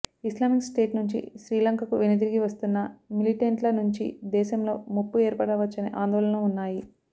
Islamic State నుంచి శ్రీలంకకు వెనుదిరిగి వస్తున్న మిలిటెంట్ల నుంచి దేశంలో ముప్పు ఏర్పడవచ్చనే ఆందోళనలు ఉన్నాయి